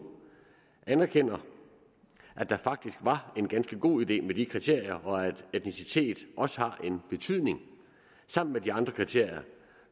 anerkender at det faktisk var en ganske god idé med de kriterier og at etnicitet også har en betydning sammen med de andre kriterier